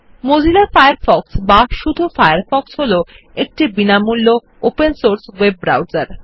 Mozilla Firefox বা শুধু Firefox হল একটি বিনামূল্য ওপেন সোর্স ওয়েব ব্রাউসার